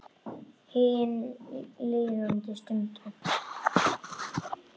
Hin líðandi stund.